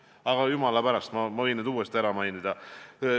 Aga jumala pärast, ma võin need uuesti ära mainida.